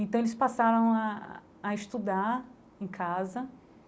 Então eles passam ah a estudar em casa.